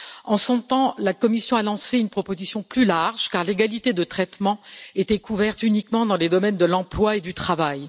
En son temps, la Commission a lancé une proposition plus large car l'égalité de traitement était couverte uniquement dans les domaines de l'emploi et du travail.